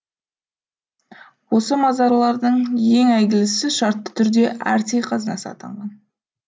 осы мазарлардың ең әйгілісі шартты түрде атрей қазынасы атанған